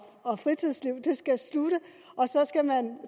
og fritidsliv skal slutte og så skal man